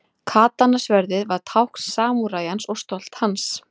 Katana-sverðið var tákn samúræjans og stolt hans.